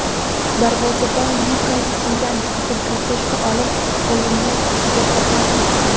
darvozabon Lyuka Zidan qizil kartochka olib o‘yinni erta tark etdi.